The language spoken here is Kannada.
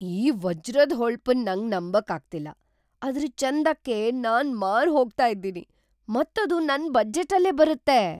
ಈ ವಜ್ರದ್ ಹೊಳಪನ್ ನಂಗ್ ನಂಬಕ್ ಆಗ್ತಿಲ್ಲ! ಅದ್ರ ಚಂದಕ್ಕೆ ನಾನ್ ಮಾರ್ ಹೋಗ್ತಾ ಇದ್ದೀನಿ, ಮತ್ ಅದು ನನ್ ಬಜೆಟ್ ಅಲ್ಲೇ ಬರುತ್ತೆ .